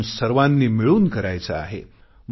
आपण सर्वानी मिळून करायचे आहे